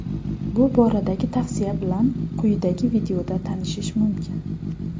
Bu boradagi tavsiya bilan quyidagi videoda tanishish mumkin.